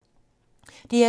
DR2